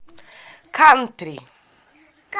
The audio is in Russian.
кантри